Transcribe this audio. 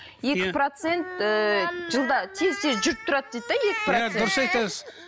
екі процент ііі жылда тез тез жүріп тұрады дейді де иә дұрыс айтасыз